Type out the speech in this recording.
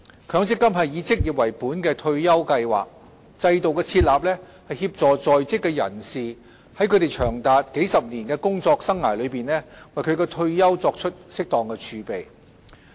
強積金是以職業為本的退休計劃，制度的設立，是協助在職人士在他們長達數十年的工作生涯中為其退休作出適當儲備。